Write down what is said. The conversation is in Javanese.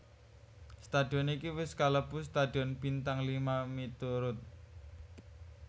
Stadion iki wis kalebu stadion bintang lima miturut